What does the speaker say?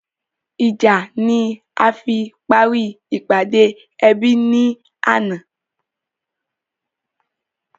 Ìjà ni a fi parí ìpàdé ẹbí ni àná